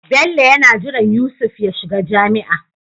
Bello yana jiran Yusuf ya shiga jami'a